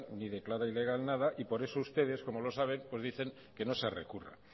ni declara ilegal nada y por eso ustedes como lo saben pues dicen que no se recurra